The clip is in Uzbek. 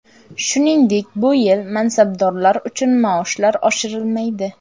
Shuningdek, bu yil mansabdorlar uchun maoshlar oshirilmaydi.